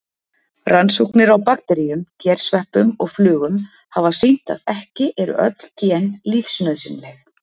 Rannsóknir á bakteríum, gersveppum og flugum hafa sýnt að ekki eru öll gen lífsnauðsynleg.